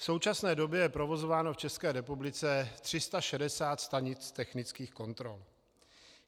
V současné době je provozováno v České republice 360 stanic technických kontrol.